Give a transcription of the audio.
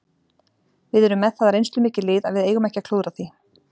Við erum með það reynslumikið lið að við eigum ekki að klúðra því.